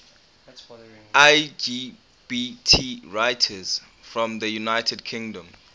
lgbt writers from the united kingdom